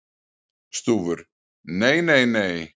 Stúfur: Nei nei nei.